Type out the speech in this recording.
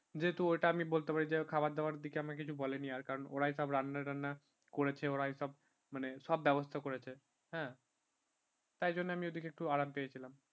যেহেতু ওটা আমি বলতে পারি যে খাবার দাবার দিকে আমি ওকে কিছু বলেনি ওরা সব রান্না টান্না করেছে ওরাই সব মানে ব্যবস্থা করেছে হ্যাঁ তার জন্য আমি ওই দিকে একটু আরাম পেয়েছিলাম